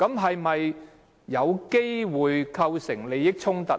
是否有機會構成利益衝突？